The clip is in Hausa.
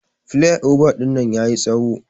Plyova dinnan yayi tsawo.